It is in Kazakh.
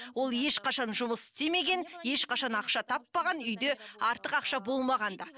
ол ешқашан жұмыс істемеген ешқашан ақша таппаған үйде артық ақша болмаған да